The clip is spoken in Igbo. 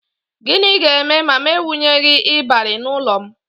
Gịnị ga-eme ma m ewunyeghi ịbarị n'ụlọ m?